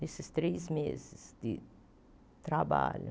Nesses três meses de trabalho.